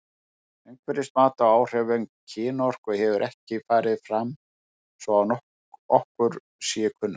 Umhverfismat á áhrifum kynorku hefur ekki farið fram svo að okkur sé kunnugt.